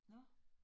Nåh